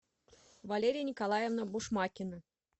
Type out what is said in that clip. валерия николаевна бушмакина